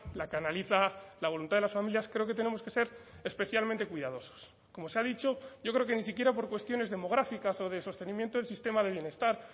la que analiza la voluntad de las familias creo que tenemos que ser especialmente cuidadosos como se ha dicho yo creo que ni siquiera por cuestiones demográficas o de sostenimiento del sistema de bienestar